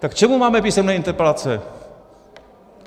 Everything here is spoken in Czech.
Tak k čemu máme písemné interpelace?